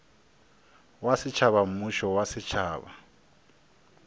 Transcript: wa setšhaba mmušo wa setšhaba